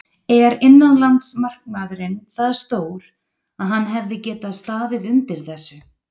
Er innanlandsmarkaðurinn það stór að hann hefði getað staðið undir þessu?